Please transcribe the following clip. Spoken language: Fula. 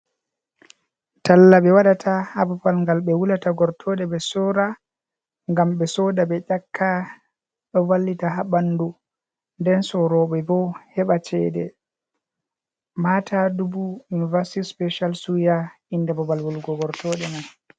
Talla ɓe waɗata ha babal ngal ɓe wulata gortoɗe ɓe sora gam ɓe soda ɓe ƴakka, ɗo vallita ha ɓandu, nden soroɓe bo heɓa cede, mata dubu university special suya inde babal wulugo gortoɗe man.